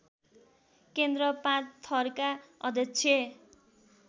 केन्द्र पाँचथरका अध्यक्ष